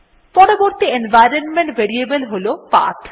পরবর্তী environment variable হল path